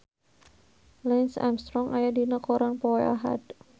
Lance Armstrong aya dina koran poe Ahad